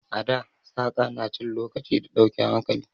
A da saƙa na cin lokaci ga dauke hankali.